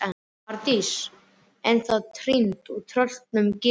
Arndís ennþá týnd og tröllum gefin.